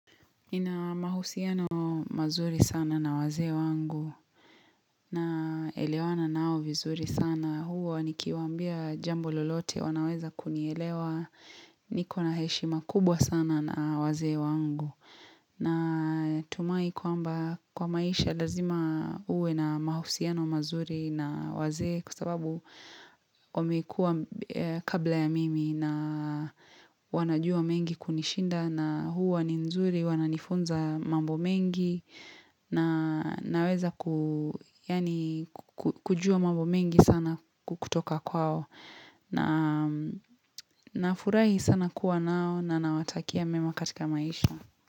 Nina mahusiano mazuri sana na wazee wangu, naelewana nao vizuri sana, huwa nikiwaambia jambo lolote wanaweza kunielewa niko na heshima kubwa sana na wazee wangu. Na tumai kwamba kwa maisha lazima uwe na mahusiano mazuri na wazee kwasababu wamekuwa kabla ya mimi na wanajua mengi kunishinda na huwa ni nzuri, wananifunza mambo mengi na naweza kujua mambo mengi sana kutoka kwao. Na nafurahi sana kuwa nao na nawatakia mema katika maisha.